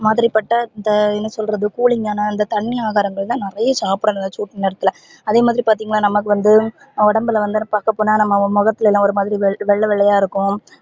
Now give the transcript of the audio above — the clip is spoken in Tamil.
மாதிரி பட்ட இந்த என்ன சொல்றது கூளிங்காண இந்த தண்ணீ ஆகாரங்கள்தா நிறைய சாப்டனும் சூட்டு நேரத்துல அதே மாதிரி பதின்கனா நமக்கு வந்து உடம்புல வந்து பாக்க போனா நம்ப மொகத்துலலா ஒரு மாதிரி வெள்ள வெள்ளையா இருக்கும்